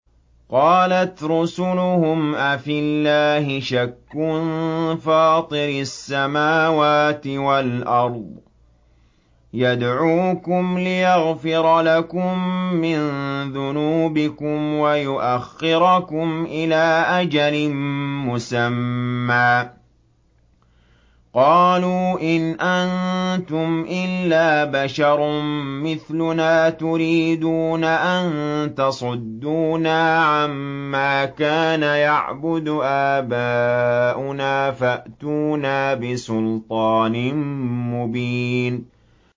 ۞ قَالَتْ رُسُلُهُمْ أَفِي اللَّهِ شَكٌّ فَاطِرِ السَّمَاوَاتِ وَالْأَرْضِ ۖ يَدْعُوكُمْ لِيَغْفِرَ لَكُم مِّن ذُنُوبِكُمْ وَيُؤَخِّرَكُمْ إِلَىٰ أَجَلٍ مُّسَمًّى ۚ قَالُوا إِنْ أَنتُمْ إِلَّا بَشَرٌ مِّثْلُنَا تُرِيدُونَ أَن تَصُدُّونَا عَمَّا كَانَ يَعْبُدُ آبَاؤُنَا فَأْتُونَا بِسُلْطَانٍ مُّبِينٍ